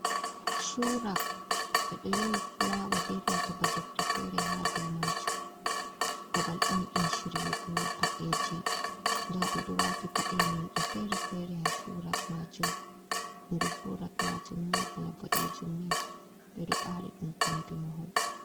Shurak, ɓe ɗo yowi fulawa benanta ba defte fere ha du majum, babal on ɗum shiryugo padeji, nda ɓe ɗo wati paɗe non nde fere-fere ha shurak majum, ɓandu shurak majum ni bana bodejum ni, ɓeɗo ɓari ɗum kombi mahol.